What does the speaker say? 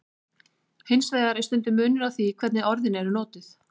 Hins vegar er stundum munur á því hvernig orðin eru notuð.